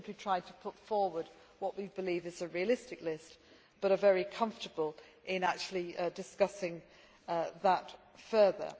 We have simply tried to put forward what we believe is a realistic list but are very comfortable in actually discussing that further.